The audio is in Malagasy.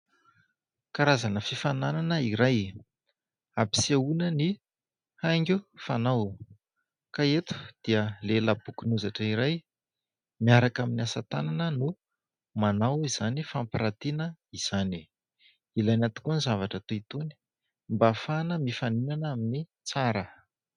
Karazana fifaninanana iray, ampisehoana ny haingo fanao. Ka eto dia lehilahy bokon'ozatra iray, miaraka amin'ny asa tanana no manao izany fampiratiana izany. Ilaina tokoa ny zavatra toy itony mba ahafahana mifaninana amin'ny tsara.